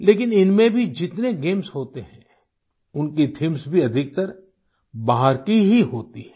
लेकिन इनमें भी जितने गेम्स होते हैं उनकी थीम्स भी अधिकतर बाहर की ही होती हैं